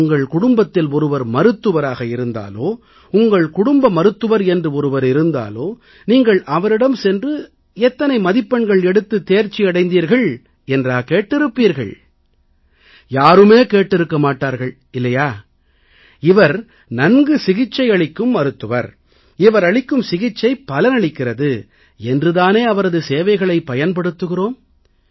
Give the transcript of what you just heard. உங்கள் குடும்பத்தில் ஒருவர் மருத்துவராக இருந்தாலோ உங்கள் குடும்ப மருத்துவர் என்று ஒருவர் இருந்தாலோ நீங்கள் அவரிடம் சென்று நீங்கள் எத்தனை மதிப்பெண்கள் எடுத்துத் தேர்ச்சியடைந்தீர்கள் என்றா கேட்டிருக்கிறீர்களா யாருமே கேட்டிருக்க மாட்டார்கள் இல்லையா இவர் நன்கு சிகிச்சை அளிக்கும் மருத்துவர் இவரளிக்கும் சிகிச்சை பலனளிக்கிறது என்று தானே அவரது சேவைகளைப் பயன்படுத்துகிறோம்